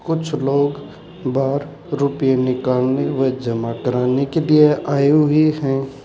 कुछ लोग बाहर रुपए निकालने व जमा कराने के लिए आए हुए हैं।